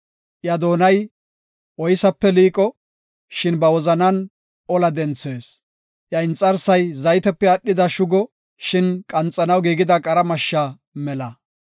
Iya doonay oysape liiqo; shin ba wozanan ola denthees. Iya inxarsay zaytepe aadhida shugo; shin qanxanaw giigida qara mashsha mela.